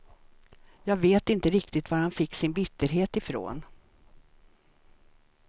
Jag vet inte riktigt var han fick sin bitterhet ifrån.